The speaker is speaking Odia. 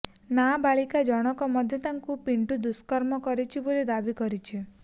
ନାବାଳିକା ଜଣଙ୍କ ମଧ୍ୟ ତାକୁ ପିଣ୍ଟୁ ଦୁଷ୍କର୍ମ କରିଛି ବୋଲି ଦାବି କରିଛି